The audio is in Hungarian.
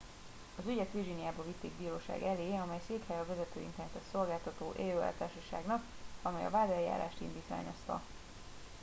"az ügyet virginiában vitték bíróság elé amely székhelye a vezető internetes szolgáltató "aol""-társaságnak amely a vádeljárást indítványozta.